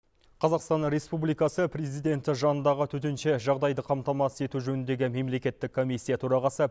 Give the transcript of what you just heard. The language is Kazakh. қазақстан республикасы президенті жанындағы төтенше жағдайды қамтамасыз ету жөніндегі мемлекеттік комиссия төрағасы